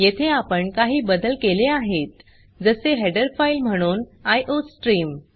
येथे आपण काही बदल केले आहेत जसे हेडर फाइल म्हणून आयोस्ट्रीम